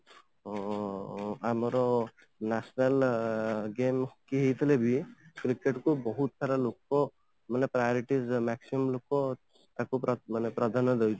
ଓଁ ଆମର national game କିଏ ହେଇଥିଲେ ବି cricket କୁ ବହୁତ ସାରା ଲୋକ ମାନେ priorities maximum ଲୋକ ତାକୁ ମାନେ ପ୍ରାଧାନ୍ୟ ଦେଇଥାନ୍ତି